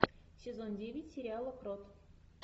сезон девять сериала крот